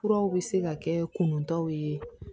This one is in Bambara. Furaw bɛ se ka kɛ kuntaw ye